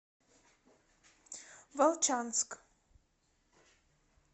волчанск